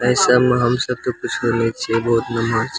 ऐसा म हमसब के कुछो नइ छइ बहुत मन होइ --